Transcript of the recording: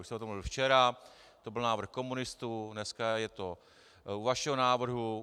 Už jsme o tom mluvili včera, to byl návrh komunistů, dneska je to u vašeho návrhu.